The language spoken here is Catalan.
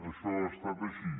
això ha estat així